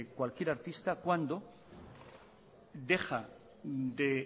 cualquier artista cuando deja de